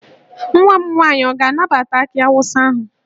Nwa m nwaanyị ọ ga-anabata akị awụsa ahụ?